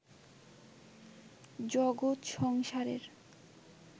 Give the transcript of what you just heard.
জগৎ-সংসারের